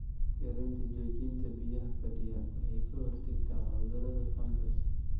Yaraynta joogitaanka biyaha fadhiya waxay ka hortagtaa cudurada fangas.